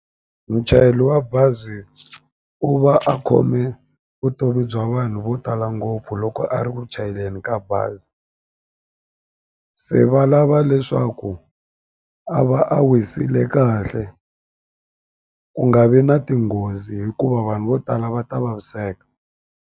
Muchayeli wa bazi u va a khome vutomi bya vanhu vo tala ngopfu loko a ri ku chayeleni ka bazi se va lava leswaku a va a wisile kahle ku nga vi na tinghozi hikuva vanhu vo tala va ta vaviseka.